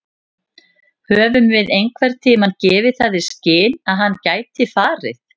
Höfum við einhverntímann gefið það í skyn að hann gæti farið?